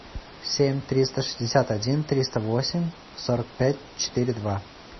семь триста шестьдесят один триста восемь сорок пять четыре два